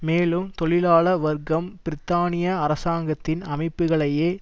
மேலும் தொழிலாள வர்க்கம் பிரித்தானிய அரசாங்கத்தின் அமைப்புகளையே